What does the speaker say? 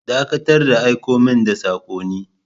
Dakatar da aiko min da sakonni!